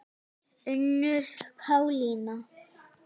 Unnur Pálína.